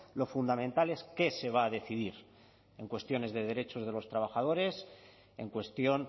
lo fundamental es qué se va a decidir en cuestiones de derechos de los trabajadores en cuestión